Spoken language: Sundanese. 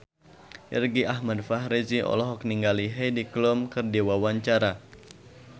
Irgi Ahmad Fahrezi olohok ningali Heidi Klum keur diwawancara